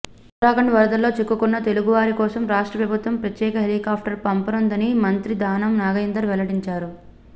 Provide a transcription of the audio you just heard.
ఉత్తరాఖండ్ వరదల్లో చిక్కుకున్న తెలుగువారి కోసం రాష్ట్రప్రభుత్వం ప్రత్యేక హెలికాప్టర్ పంపనుందని మంత్రి దానం నాగేందర్ వెల్లడించారు